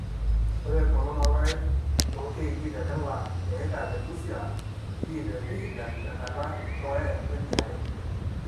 ore egolon oorpaek too kj te kila eika te busia p te vihiga te nkata e dukuya we niare.